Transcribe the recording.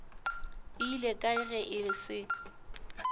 ile kae ge e se